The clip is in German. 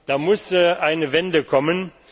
Da muss eine Wende kommen.